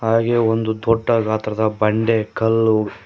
ಹಾಗೆ ಒಂದು ದೊಡ್ಡ ಗಾತ್ರದ ಬಂಡೆ ಕಲ್ಲು--